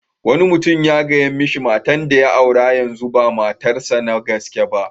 Wani mutum ya gaya mishi matan da ya aure yanzu ba matar sa na gaske ba.